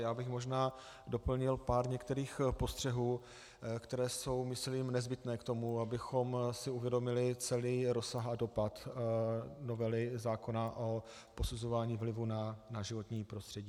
Já bych možná doplnil pár některých postřehů, které jsou myslím nezbytné k tomu, abychom si uvědomili celý rozsah a dopad novely zákona o posuzování vlivu na životní prostředí.